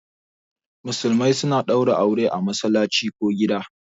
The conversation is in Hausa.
Musulmai suna ɗaura aure a masallaci ko gida